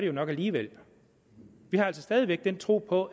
jo nok alligevel vi har altså stadig væk den tro på